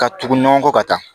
Ka tugu ɲɔgɔn kɔ ka taa